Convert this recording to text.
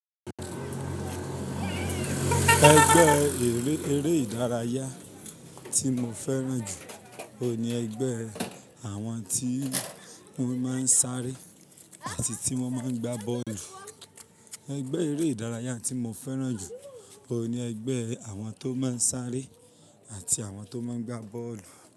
Ẹgbẹ́ eré ìdárayá tí mo fẹ́ràn jù oun ni ẹgbẹ́ àwọn tí wọ́n máa ń sáré àti tí wọ́n máa ń gba bọ́ọ̀lù. Ẹgbẹ́ eré ìdárayá tí mo fẹ́ràn jù ló ni ẹgbẹ́ àwọn tó máa ń sáré àti àwọn tó máa ń gba bọ́ọ̀lù.